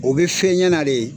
O bi fɛn ɲɛna de.